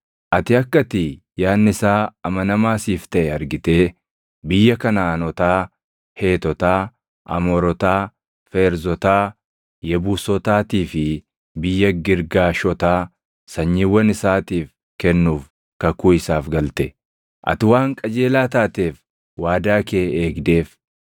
Ati akka ati yaadni isaa amanamaa siif taʼe argitee biyya Kanaʼaanotaa, Heetotaa, Amoorotaa, Feerzotaa, Yebuusotaatii fi biyya Girgaashotaa sanyiiwwan isaatiif kennuuf kakuu isaaf galte. Ati waan qajeelaa taateef waadaa kee eegdeef.